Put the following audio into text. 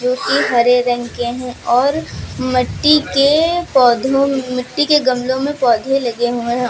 एक हरे रंग के हैं और मट्टी के पौधों मिट्टी के गमलो में पौधे लगे हुए हैं।